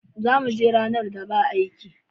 Za mu je ranar da ba aiki.